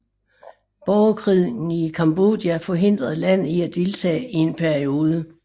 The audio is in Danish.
Borgerkrigen i Cambodja forhindrede landet i at deltage i en periode